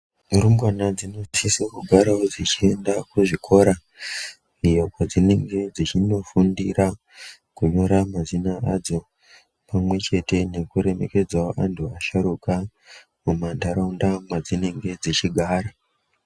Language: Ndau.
Rumbwana dzinosisevo kugaravo dzichienda kuzvikora iyo kwadzinenge dzichinofundira kunyora mazina adzo. Pamwe chete nekuremekedzavo antu asharukwa muma nharaunda madzinenge dzichigara.